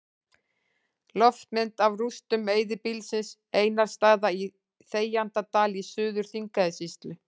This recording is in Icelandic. Loftmynd af rústum eyðibýlisins Einarsstaða í Þegjandadal í Suður-Þingeyjarsýslu.